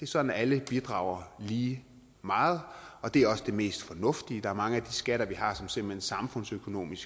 sådan alle bidrager lige meget og det er også det mest fornuftige der er mange af de skatter vi har som simpelt hen samfundsøkonomisk